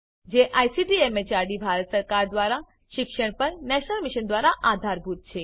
જે ICT MHRD Bharat સરકાર દ્વારા શિક્ષણ પર નેશનલ મિશન દ્વારા આધારભૂત છે